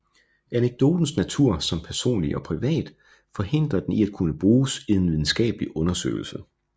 Anekdotens natur som personlig og privat forhindrer den i at kunne bruges i en videnskabelig undersøgelse